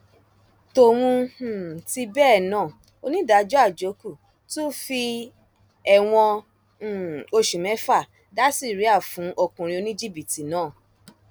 tóun um tì bẹẹ náà onídàájọ àjókù tún fi ẹwọn um oṣù mẹfà dá síríà fún ọkùnrin oníjìbìtì náà